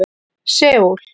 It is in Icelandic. Seúl